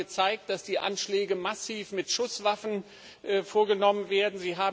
Sie haben gezeigt, dass die Anschläge massiv mit Schusswaffen vorgenommen werden.